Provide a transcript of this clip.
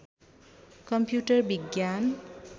computer विज्ञान